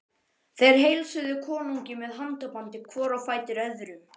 Þeir heilsuðu konungi með handabandi hvor á fætur öðrum.